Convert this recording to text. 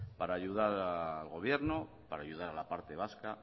para ayudar al gobierno para ayudar a la parte vasca